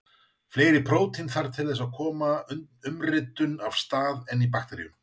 Fleiri prótín þarf líka til þess að koma umritun af stað en í bakteríum.